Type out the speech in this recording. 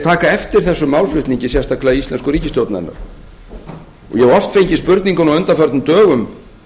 taka eftir þessum málflutningi sérstaklega íslensku ríkisstjórnarinnar ég hef oft fengið spurninguna á undanförnum dögum